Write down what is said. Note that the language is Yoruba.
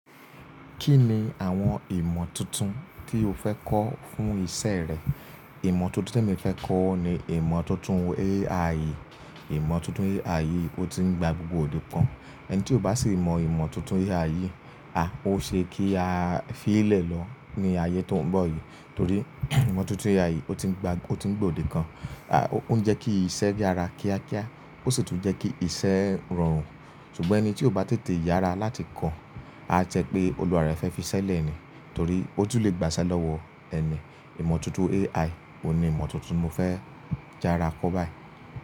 Kí ni àwọn ìmọ̀ tuntun tí o fẹ́ kọ́ fún ìṣe rẹ? Ìmọ̀ tuntun tí mo fẹ́ kọ́ ni ìmọ̀ tuntun AI. Ìmọ̀ tuntun AI ó ti ń gba gbogbo òde pon. Ẹni tí ò bá sì mọ ìmọ̀ tuntun AI, a ó ṣe kí a fi í lẹ̀ lọ ní ayé tó ń bọ̀ yìí. Torí ìmọ̀ tuntun AI ó ti ń gba, ó ti ń gbòdì kan. A, ó ń jẹ kí iṣẹ́ yára kíákíá, ó sì tún jẹ́ kí iṣẹ́ rọrùn. Ṣùgbọ́n ẹni tí ò bá tètè yára láti kọ́, á jẹ́ pé olùwàá rẹ̀ fẹ́ fi í ṣẹ́lẹ̀ ni. Torí ó tún le gbaṣẹ́ lọ́wọ́ ẹni. Ìmọ̀ tuntun AI, òun ni ìmọ̀ tuntun mo fẹ́ jára kọ́ báyìí.